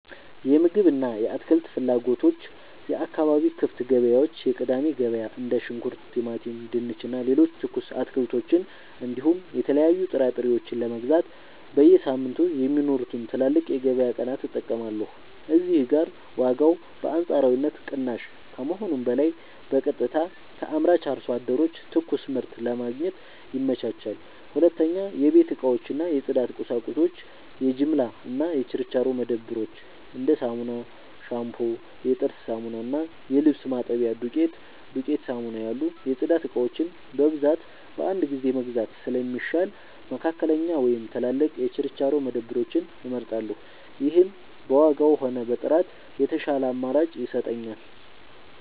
የምግብ እና የአትክልት ፍላጎቶች የአካባቢ ክፍት ገበያዎች (የቅዳሜ ገበያ): እንደ ሽንኩርት፣ ቲማቲም፣ ድንች እና ሌሎች ትኩስ አትክልቶችን እንዲሁም የተለያዩ ጥራጥሬዎችን ለመግዛት በየሳምንቱ የሚኖሩትን ትላልቅ የገበያ ቀናት እጠቀማለሁ። እዚህ ጋር ዋጋው በአንጻራዊነት ቅናሽ ከመሆኑም በላይ በቀጥታ ከአምራች አርሶ አደሮች ትኩስ ምርት ለማግኘት ይመቻቻል። 2. የቤት እቃዎች እና የጽዳት ቁሳቁሶች የጅምላ እና የችርቻሮ መደብሮች: እንደ ሳሙና፣ ሻምፑ፣ የጥርስ ሳሙና እና የልብስ ማጠቢያ ዱቄት (ዱቄት ሳሙና) ያሉ የጽዳት እቃዎችን በብዛት በአንድ ጊዜ መግዛት ስለሚሻል፣ መካከለኛ ወይም ትላልቅ የችርቻሮ መደብሮችን እመርጣለሁ። ይህም በዋጋም ሆነ በጥራት የተሻለ አማራጭ ይሰጠኛል።